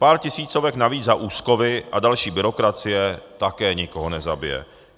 Pár tisícovek navíc za úschovy a další byrokracie také nikoho nezabije.